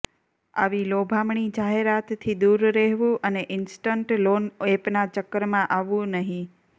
આવી લોભામણી જાહેરાતથી દૂર રહેવું અને ઇન્સ્ટન્ટ લોન એપના ચક્કરમાં આવવું નહીં